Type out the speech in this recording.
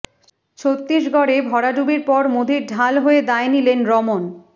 ছত্তীসগঢ়ে ভরাডুবির পর মোদীর ঢাল হয়ে দায় নিলেন রমন